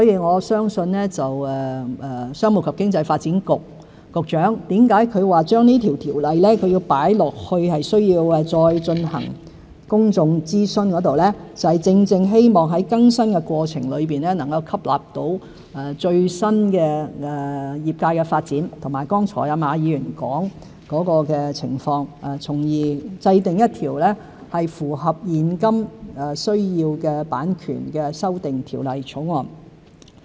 我相信商務及經濟發展局局長說這項條例需要再進行公眾諮詢，正正就是希望在更新的過程中能吸納業界最新的發展，以及馬議員剛才所說的情況，從而制定符合現今需要的版權修訂條例草案。